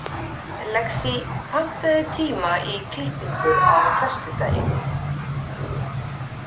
Lexí, pantaðu tíma í klippingu á föstudaginn.